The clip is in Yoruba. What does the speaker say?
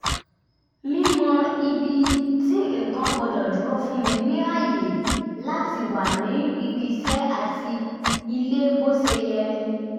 mímọ̀ ibi tí nǹkan gbọ́dọ̀ dúró fún mi ní àyè láti wà ní ibi iṣẹ́ àti ilé bó ṣe yẹ